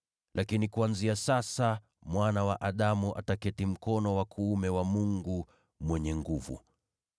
Lakini kuanzia sasa, Mwana wa Adamu ataketi mkono wa kuume wa Mungu Mwenye Nguvu.”